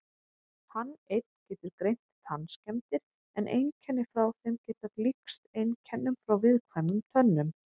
Hann einn getur greint tannskemmdir en einkenni frá þeim geta líkst einkennum frá viðkvæmum tönnum.